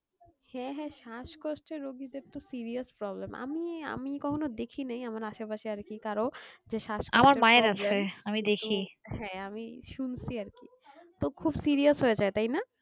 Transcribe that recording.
হ্যাঁ হ্যাঁ শ্বাসকষ্ট রুগীদেরতো serious problem আমি আমি কখনো দেখিনাই আমার আশেপাশে আর কি কারো যে হ্যাঁ আমি শুনছি আর কি তো খুব serious হয়ে যায় তাই না